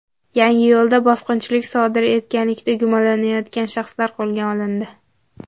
Yangiyo‘lda bosqinchilik sodir etganlikda gumonlanayotgan shaxslar qo‘lga olindi.